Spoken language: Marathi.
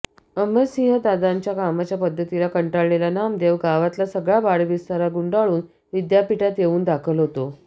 अमरसिंहदादांच्या कामाच्या पद्धतीला कंटाळलेला नामदेव गावातला सगळा बाडबिस्तरा गुंडाळून विद्यापीठात येऊन दाखल होतो